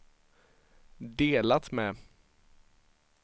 delat med